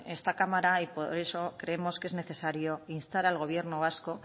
en esta cámara y por eso creemos que es necesario instar al gobierno vasco